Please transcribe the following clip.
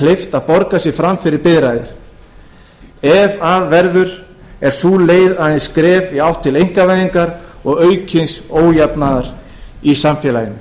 kleift að borga sig fram fyrir biðraðir ef af verður er sú leið aðeins skref í átt til einkavæðingar og aukins ójafnaðar í samfélaginu